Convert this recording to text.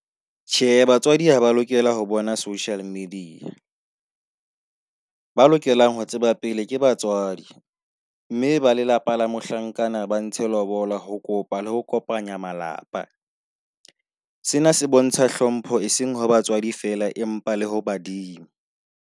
Tjhe, batswadi ha ba lokela ho bona social media, ba lokelang ho tseba pele ke batswadi, mme ba lelapa la mohlankana ba ntshe lobola ho kopa le ho kopanya malapa. Sena se bontsha hlompho e seng ho batswadi feela empa le ho badimo.